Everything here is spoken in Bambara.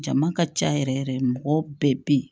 Jama ka ca yɛrɛ yɛrɛ mɔgɔ bɛɛ bɛ yen